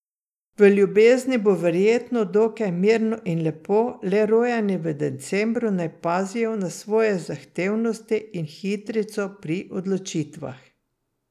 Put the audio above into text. V ljubezni bo verjetno dokaj mirno in lepo, le rojeni v decembru naj pazijo na svojo zahtevnosti in hitrico pri odločitvah.